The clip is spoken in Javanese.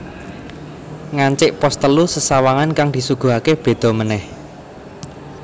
Ngancik pos telu sesawangan kang disuguhake beda manèh